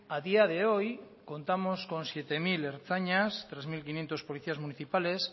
a día de hoy contamos con siete mil ertzainas tres mil quinientos policías municipales